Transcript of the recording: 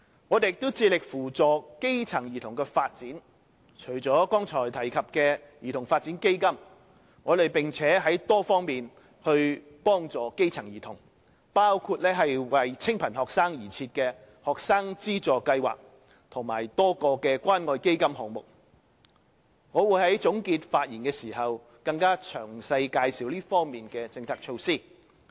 我們也致力扶助基層兒童的發展，除了剛才提及的兒童發展基金，我們在多方面幫助基層兒童，包括為清貧學生而設的學生資助計劃及多個關愛基金項目，我會在總結發言時更詳細介紹這方面的政策措施。